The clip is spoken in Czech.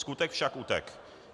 Skutek však utek'.